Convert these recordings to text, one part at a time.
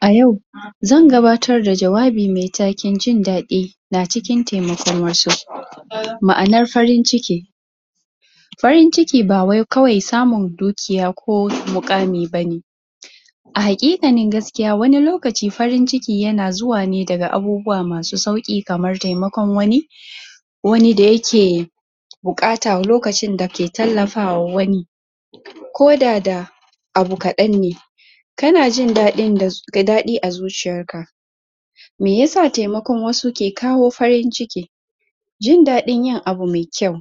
A yau zan gabatar da jawabi mai taken jin daɗi na cikin taimakon wasu ma'anar farin ciki farin ciki ba wai kawai samun dukiya ko muƙami ba ne a haƙiƙanin gaskiya wani lokaci farin ciki yana zuwa ne daga abubuwa masu sauƙi kamar taimakon wani wani da yake buƙata lokacin da ke tallafawa wani koda da abu kaɗan ne kana jin daɗin da, da daɗi a zuciyarka mai ya sa taimakon wasu ke kawo farin ciki jin daɗin yin abu mai kyau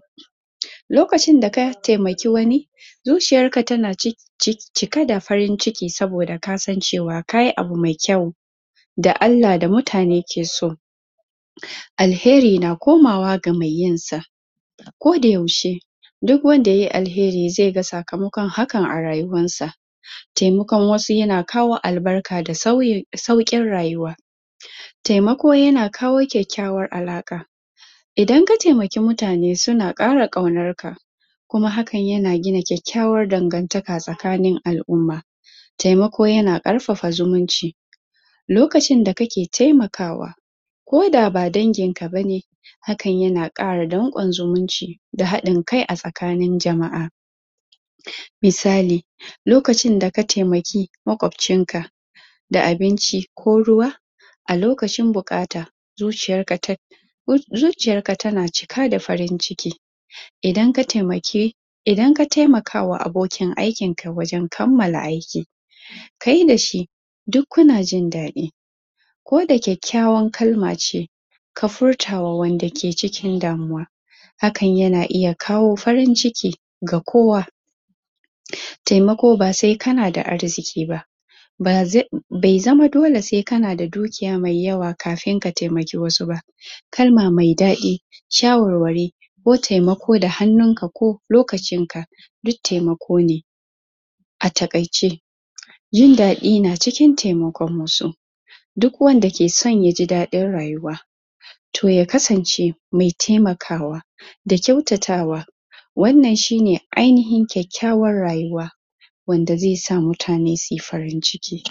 lokacin da ka taimaki wani zuciyarka tana cikin cike da farin ciki saboda kasan cewaa ka yi abu mai kyau da Allah da mutane ke so alheri na komawa ga mai yin sa kodayaushe duk wanda yai alheri zai ga sakamakon hakan a rayuwarsa taimakon wasu yana kawo albarka da sauyin sauƙin rayuwa taimako yana kawo kyakkyawar alaƙa idan ka taimaki mutane suna ƙara ƙaunarka kuma hakan yana gina kyakkyawar dangantaka tsakanin a'lumma taimako yana ƙarfafa zumunci lokacin da kake taimakawa koda ba danginka ba ne hakan yana ƙara danƙon zumunci da haɗin kai a tsakanin jama'a misali; lokacin da ka taimaki maƙwabcinka da abinci ko ruwa a lokacin buƙata zuciyarka ta zuciyarka tana cika da farin ciki idan ka taimaki idan ka taimakawa abokin aikin ka wajen kammala aiki kai da shi duk kuna jin daɗi koda kyakkyawar kalma ce ka furta wa wanda ke cikin damuwa hakan yana iya kawo farin ciki ga kowa taimako ba sai kana da arziki ba bai zama dole sai kana da dukiya mai yawa kafin taimaki wasu ba kalma mai daɗi shawarwari ko taimako da hannunka ko lokacinka duk taimako ne a taƙaice jin daɗi na cikin taimakon wasu duk wanda ke so ya ji daɗin rayuwa to ya kasance mai taimakawa da kyautatawa wannan shi ne ainuhin kyakkyawar rayuwa wanda zai sa mutane su yi farin ciki